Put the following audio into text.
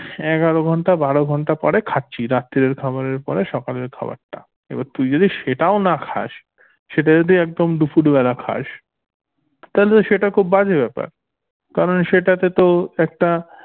এগারো ঘন্টা বারো ঘন্টা পর খাচ্ছি রাত্তিরের খাবারের পরে সকালের খাবার টা এবার তুই যদি সেটাও না খাস সেটা যদি একদম দুপুর বেলা খাস তাহলে তো সেটা খুব বাজে ব্যাপার কারণ সেটাতে তো একটা